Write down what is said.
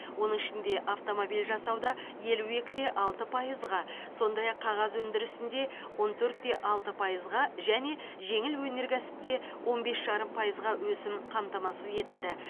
оның ішінде автомобиль жасауда елу екі де алты пайызға сондай ақ қағаз өндірісінде он төрт те алты пайызға және жеңіл өнеркәсіпте он бес жарым пайызға өсім қамтамасыз етілді